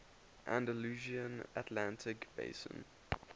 andalusian atlantic basin